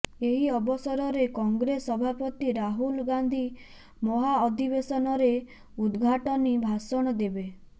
ଏହି ଅବସରରେ କଂଗ୍ରେସ ସଭାପତି ରାହୁଲ ଗାନ୍ଧୀ ମହାଅଧିବେଶନରେ ଉଦଘାଟନୀ ଭାଷଣ ଦେବେ